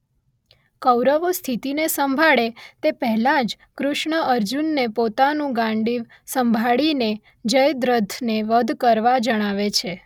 કૌરવો સ્થિતીને સંભાળે તે પહેલાં જ કૃષ્ણ અર્જુનને પોતાનું ગાંડિવ સંભાળીને જયદ્રથને વધ કરવા જણાવે છે